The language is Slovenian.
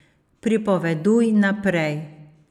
Pripoveduj naprej.